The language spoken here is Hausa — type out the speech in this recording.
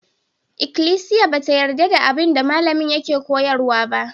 Ikklisiya ba ta yarda da abin da malamin yake koyarwa ba.